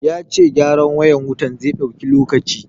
Ya ce gyaran wayar wutan zai ɗauki lokaci.